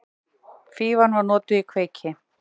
Fífan var notuð í kveiki.